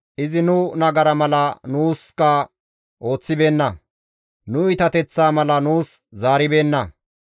Izi nu nagara mala nuus ooththibeenna; nu iitateththaa mala nuus zaaribeenna.